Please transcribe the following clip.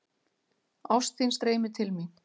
Ást þín streymir til mín.